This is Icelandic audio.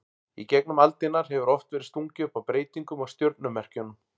Í gegnum aldirnar hefur oft verið stungið upp á breytingum á stjörnumerkjunum.